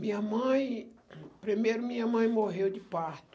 Minha mãe, primeiro minha mãe morreu de parto.